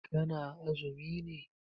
Ka na azumi ne?